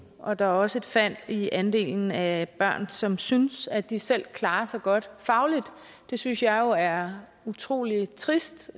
og at der også er et fald i andelen af børn som synes at de selv klarer sig godt fagligt det synes jeg jo er utrolig trist